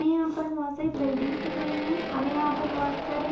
हमे यहा पर बहुत सारे बिल्डिंगस दिख रही है। हमे यहा पर बहुत सारे--